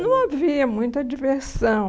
Não havia muita diversão.